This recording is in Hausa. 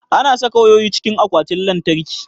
Ana saka wayoyi cikin akwatin lantarki.